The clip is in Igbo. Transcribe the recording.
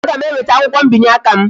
Ee, aga m enweta akwukwo mbinye aka m